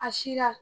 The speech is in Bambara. A sira